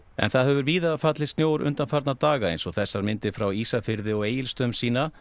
en það hefur víða fallið snjór undanfarna daga eins og þessar myndir frá Ísafirði og Egilsstöðum sýna